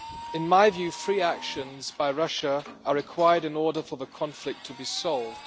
In my view, three actions by Russia are required in order for the conflict to be solved.